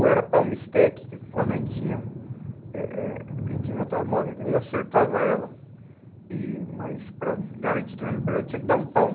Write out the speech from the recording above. Ou era palma stack, que quando a gente tinha, eh eh a gente inventava a moda, que a gente acertava ela, e mas para garantir também no projeto, tinha que dar um palmo.